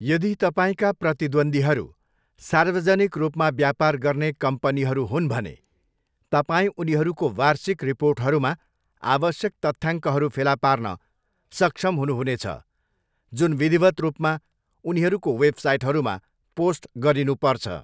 यदि तपाईँका प्रतिद्वन्द्वीहरू सार्वजनिक रूपमा व्यापार गर्ने कम्पनीहरू हुन् भने, तपाईँ उनीहरूको वार्षिक रिपोर्टहरूमा आवश्यक तथ्याङ्कहरू फेला पार्न सक्षम हुनुहुनेछ, जुन विधिवत् रूपमा उनीहरूको वेबसाइटहरूमा पोस्ट गरिनुपर्छ।